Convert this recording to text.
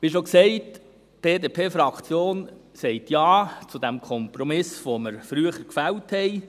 Wie schon gesagt, die BDP-Fraktion sagt Ja zu diesem Kompromiss, den wir früher gefällt haben.